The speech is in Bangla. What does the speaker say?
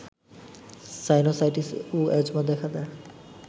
সাইনোসাইটিস্ ও এজমা দেখা দেয়